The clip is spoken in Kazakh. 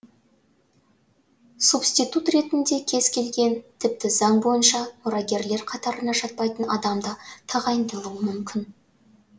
субститут ретінде кез келген тіпті заң бойынша мұрагерлер қатарына жатпайтын адам да тағайындалуы мүмкін